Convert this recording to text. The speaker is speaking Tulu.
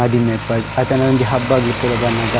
ಮದಿಮೆ ಇಪ್ಪಡ್ ಅತ್ತ್ಂಡ ಒಂಜಿ ಹಬ್ಬಗಳ್ ಪೂರ ಬನ್ನಗ.